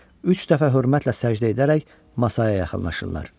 Üç dəfə hörmətlə səcdə edərək masaya yaxınlaşırlar.